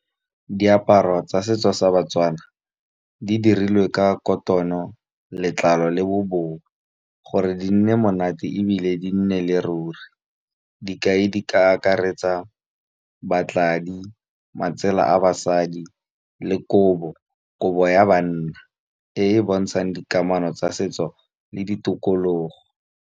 Diaparo tsa setso sa ba-Tswana di dirilwe ka kotono, letlalo le bobowa gore di nne monate ebile di nnele ruri. Dikai di ka akaretsa batladi, matsela a basadi le kobo, kobo ya banna e e bontshang dikamano tsa setso le ditokologo.